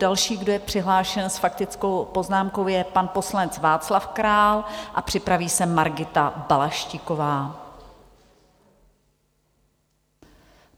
Další, kdo je přihlášen s faktickou poznámkou, je pan poslanec Václav Král a připraví se Margita Balaštíková.